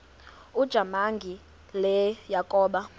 ujamangi le yakoba